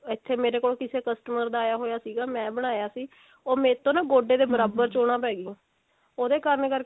ਇੱਥੇ ਮੀ ਕੋਲ ਕਿਸੇ customer ਦਾ ਆਇਆ ਹੋਇਆ ਸੀਗਾ ਮੈਂ ਬਣਾਇਆ ਸੀ ਉਹ ਮੇਰੇ ਤੋਂ ਨਾ ਗੋਡੇ ਦੇ ਬਰਾਬਰ ਚੋਣਾ ਪੈ ਗਿਆਂ ਉਹਦੇ ਕਰਨ ਕਰਕੇ